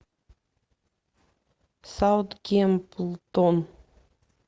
саутгемптон